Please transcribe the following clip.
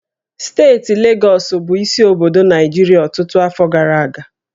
Steeti Legọs bụ isi obodo Naịjirịa ọtụtụ afọ gara aga